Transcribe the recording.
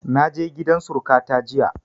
Na je gidan suruƙa ta jiya